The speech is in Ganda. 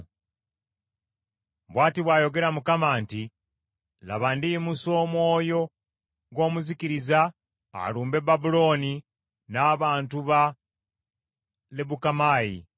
Bw’ati bw’ayogera Mukama nti, “Laba, ndiyimusa omwoyo gw’omuzikiriza alumbe Babulooni n’abantu ba Lebukamaayi.